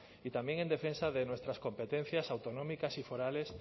y también en defensa de nuestras competencias autonómicas y forales